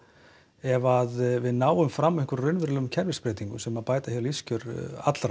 ef við náum fram einhverjum raunverulegum kerfisbreytingum sem bæta lífskjör allra